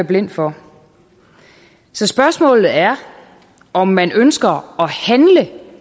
blind for så spørgsmålet er om man ønsker